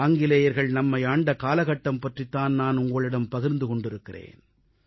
ஆங்கிலேயர்கள் நம்மை ஆண்ட காலகட்டம் பற்றித் தான் நான் உங்களிடம் பகிர்ந்து கொண்டிருக்கிறேன்